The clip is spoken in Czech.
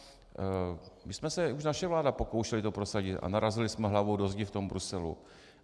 My jsme se, už naše vláda, pokoušeli to prosadit a narazili jsme hlavou do zdi v tom Bruselu.